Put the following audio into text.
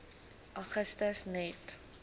augustus net